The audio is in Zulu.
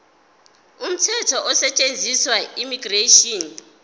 umthetho osetshenziswayo immigration